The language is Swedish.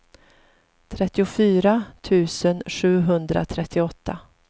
trettiofyra tusen sjuhundratrettioåtta